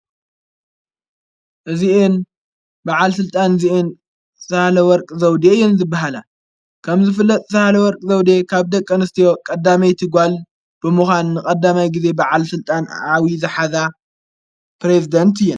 እዚኢን ብዓል ሥልጣን እዚኢን ሠሓለ ወርቂ ዘውዴ እየን ዝበሃላ ከም ዝፍለጥ ሠሓለ ወርቂ ዘውዴየ ካብ ደቀ ንስትዮ ቐዳመይቲ ጓል ብምዃንቐዳማይ ጊዜ ብዓል ሥልጣን ኣዊዪ ዝኃዛ ጵሬዝዴንት እያ፡፡